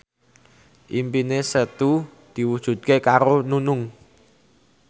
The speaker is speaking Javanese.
impine Setu diwujudke karo Nunung